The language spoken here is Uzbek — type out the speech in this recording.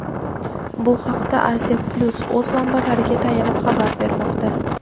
Bu haqda "Aziya-Plyus" o‘z manbalariga tayanib xabar bermoqda.